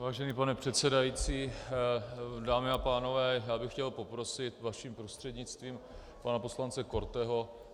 Vážený pane předsedající, dámy a pánové, já bych chtěl poprosit vaším prostřednictvím pana poslance Korteho.